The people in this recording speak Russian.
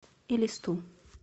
элисту